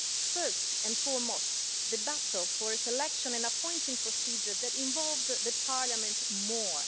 First and foremost, the battle for a selection and appointing procedure that involved the Parliament more.